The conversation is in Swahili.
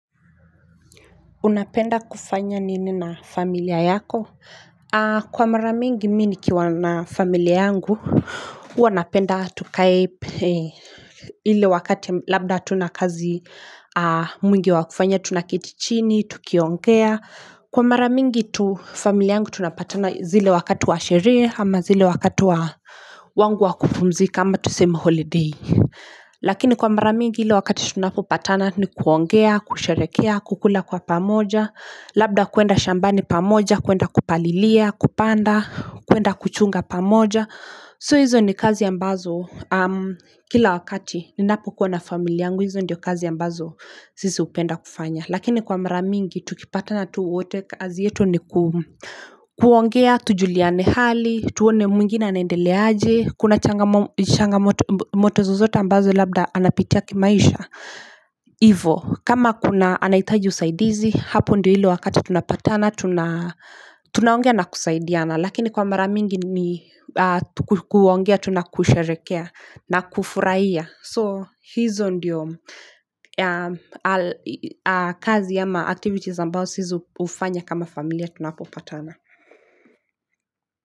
Unapenda kufanya nini na familia yako? Kwa mara mingi mimi nikiwa na familia yangu, huwa napenda tukae ile wakati labda hatuna kazi mwingi wakufanya, tunaketi chini, tukiongea. Kwa mara mingi tu familia yangu tunapatana zile wakati wa sherehe ama zile wakati wa wangu wa kupumzika ama tusema holiday. Lakini kwa mara mingi ile wakati tunapopatana ni kuongea, kusherehekea, kukula kwa pamoja Labda kuenda shambani pamoja, kuenda kupalilia, kupanda, kuenda kuchunga pamoja So hizo ni kazi ambazo kila wakati ninapokuwa na familia yangu hizo ndio kazi ambazo sisi hupenda kufanya Lakini kwa mara mingi tukipatana tu wote kazi yetu ni kuongea, tujuliane hali, tuone mwingine anaendeleaje Kuna changamoto zozote ambazo labda anapitia kimaisha Hivo kama kuna anahitaji usaidizi Hapo ndio ile wakati tunapatana Tunaongea na kusaidiana Lakini kwa mara mingi ni kuongea tu na kusherehekea na kufurahia So hizo ndio kazi ama activities ambao sisi hufanya kama familia tunapopatana.